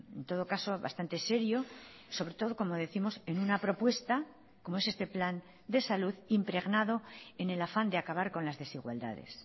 en todo caso bastante serio sobre todo como décimos en una propuesta como es este plan de salud impregnado en el afán de acabar con las desigualdades